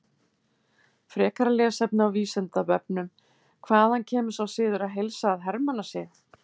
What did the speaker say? Frekara lesefni á Vísindavefnum: Hvaðan kemur sá siður að heilsa að hermannasið?